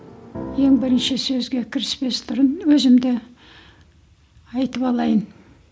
ең бірінші сөзге кіріспес бұрын өзімді айтып алайын